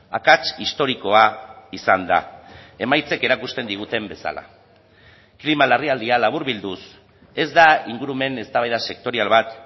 akats historikoa izan da emaitzek erakusten diguten bezala klima larrialdia laburbilduz ez da ingurumen eztabaida sektorial bat